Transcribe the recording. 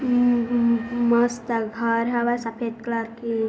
हम्म्म हम्म्म हम्म्म मस्त घर हवय सफेद कलर के --